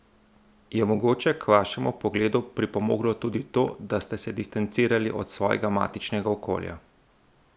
Je mogoče k vašemu pogledu pripomoglo tudi to, da ste se distancirali od svojega matičnega okolja?